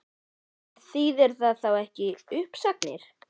En þýðir það þá ekki uppsagnir?